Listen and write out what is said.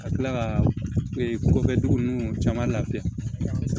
Ka tila ka ko kɛ dugu ninnu caman lafiya